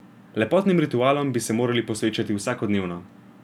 Lepotnim ritualom bi se morali posvečati vsakodnevno.